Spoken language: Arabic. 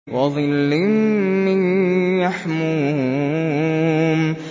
وَظِلٍّ مِّن يَحْمُومٍ